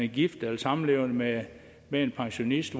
gift eller samlevende med med en pensionist